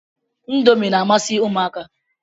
Indomi na-amasị ụmụaka.